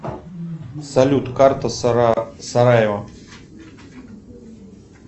салют карта сараево